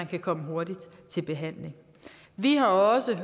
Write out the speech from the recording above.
kan komme hurtigt i behandling vi har også og